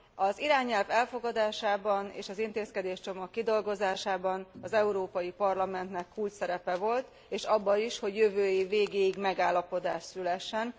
Az irányelv elfogadásában, és az intézkedéscsomag kidolgozásában az Európai Parlamentnek kulcsszerepe volt, és abban is, hogy jövő év végéig megállapodás szülessen.